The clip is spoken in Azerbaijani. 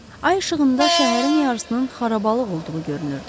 Ay işığında şəhərin yarısının xarabalığ olduğu görünürdü.